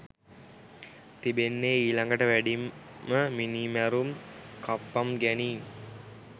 තිබෙන්නේ ඊළඟට වැඩිම මිනීමැරුම් කප්පම් ගැනීම්